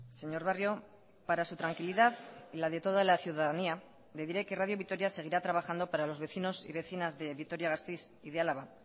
señor barrio para su tranquilidad y la de toda la ciudadanía le diré que radio vitoria seguirá trabajando para los vecinos y vecinas de vitoria gasteiz y de álava